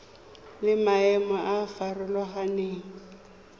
le maemo a a farologaneng